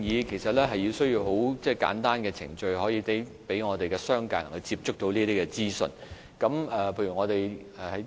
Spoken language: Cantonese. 其實我們需要提供簡單的程序，方便商界人士接觸到這些資訊。